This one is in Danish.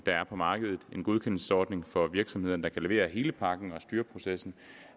er på markedet en godkendelsesordning for virksomhederne der kan levere hele pakken og styreprocessen